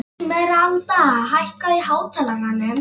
Esmeralda, hækkaðu í hátalaranum.